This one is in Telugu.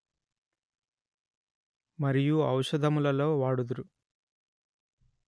మరియు ఔషధములలో వాడుదురు